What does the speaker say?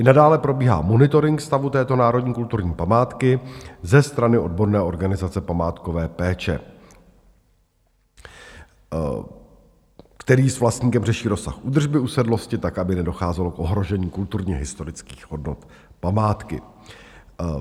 I nadále probíhá monitoring stavu této národní kulturní památky ze strany odborné organizace památkové péče, který s vlastníkem řeší rozsah údržby usedlosti tak, aby nedocházelo k ohrožení kulturně-historických hodnot památky.